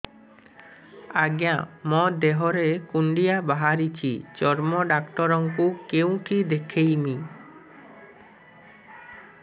ଆଜ୍ଞା ମୋ ଦେହ ରେ କୁଣ୍ଡିଆ ବାହାରିଛି ଚର୍ମ ଡାକ୍ତର ଙ୍କୁ କେଉଁଠି ଦେଖେଇମି